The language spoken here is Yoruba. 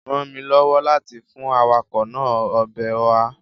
rán mí lọwọ láti fún awakọ naa Ọbẹ̀ oha.